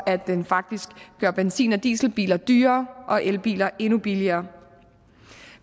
at den faktisk gjorde benzin og dieselbiler dyrere og elbiler endnu billigere